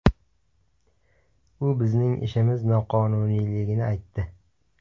U bizning ishimiz noqonuniyligini aytdi.